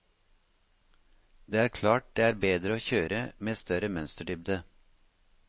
Det er klart det er bedre å kjøre med større mønsterdybde.